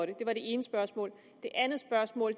det ene spørgsmål det andet spørgsmål